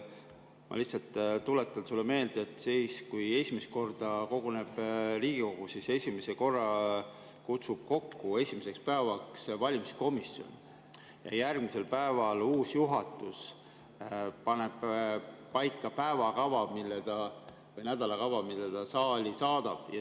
Ma lihtsalt tuletan sulle meelde, et kui Riigikogu esimest korda koguneb, siis kutsub Riigikogu esimeseks päevaks kokku valimiskomisjon ja järgmisel päeval uus juhatus paneb paika päevakava või nädalakava, mille ta saali saadab.